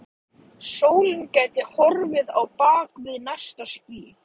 Sólin gæti horfið á bak við næsta ský.